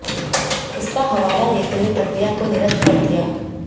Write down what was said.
इसका हवाला देते हुए प्रक्रिया को निरस्त कर दिया